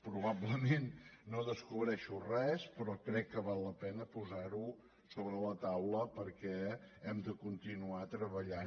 probablement no descobreixo res però crec que val la pena posar ho sobre la taula perquè hem de continuar treballant